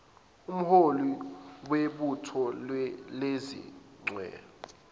umholi webutho lezichwe